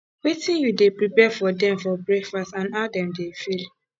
wetin you dey prepare for dem for breakfast and how dem dey feel